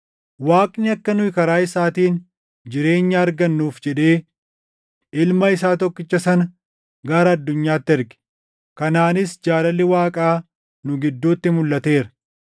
Waaqni akka nu karaa isaatiin jireenya argannuuf jedhee Ilma isaa tokkicha sana gara addunyaatti erge. Kanaanis jaalalli Waaqaa nu gidduutti mulʼateera.